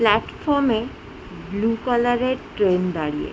প্লাটফর্মে বুলু কালারের ট্রেন দাঁড়িয়ে।